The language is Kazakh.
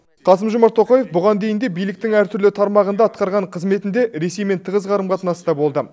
қасым жомарт тоқаев бұған дейін де биліктің әр түрлі тармағында атқарған қызметінде ресеймен тығыз қарым қатынаста болды